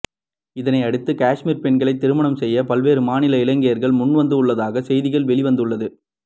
இதனை அடுத்து காஷ்மீர் பெண்களை திருமணம் செய்ய பல்வேறு மாநில இளைஞர்கள் முன்வந்துள்ளதாக செய்திகள் வெளிவந்துள்ளது